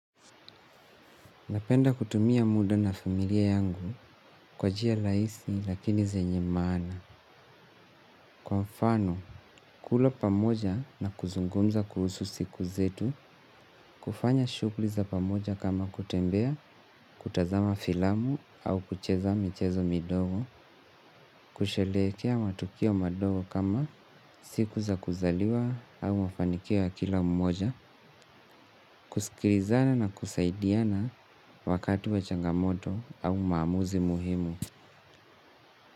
Napenda kutumia muda na familia yangu kwa njia rahisi lakini zenye maana. Kwa mfano, kula pamoja na kuzungumza kuhusu siku zetu, kufanya shughuli za pamoja kama kutembea, kutazama filamu au kucheza michezo midogo, kusherehekea matukio madogo kama siku za kuzaliwa au mafanikio ya kila mmoja, kusikilizana na kusaidiana wakati wa changamoto au maamuzi muhimu.